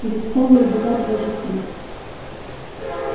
перестали убивать даже крыс